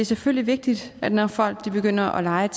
selvfølgelig vigtigt at når folk begynder at leje